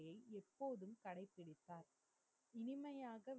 எப்போதும் கடைபிடித்தார் இனிமையாகவே